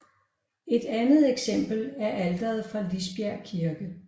Et andet eksempel er alteret fra Lisbjerg Kirke